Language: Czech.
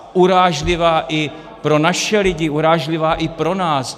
Urážlivá i pro naše lidi, urážlivá i pro nás.